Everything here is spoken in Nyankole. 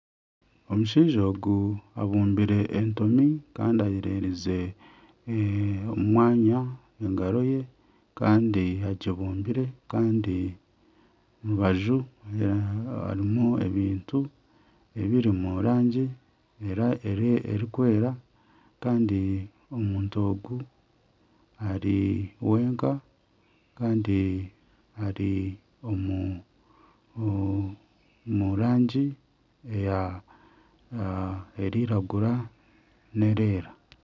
Omushaija ogu abumbire entomi Kandi ayererize omu mwanya engaro ye Kandi agibumbire Kandi omurubaju harimu ebintu ebiri omu rangi erikweera Kandi omuntu ogu ari wenka Kandi ari omu rangi erikwiragura nana erikweera.